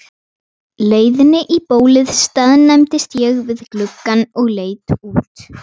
leiðinni í bólið staðnæmdist ég við gluggann og leit út.